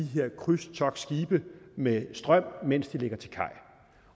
her krydstogtskibe med strøm mens de ligger til kaj